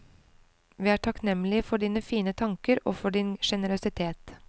Vi er takknemlige for dine fine tanker, og for din generøsitet.